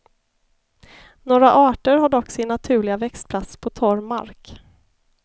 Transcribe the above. Några arter har dock sin naturliga växtplats på torr mark.